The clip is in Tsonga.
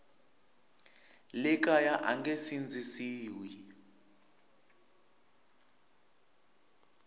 le kaya a nge sindzisiwi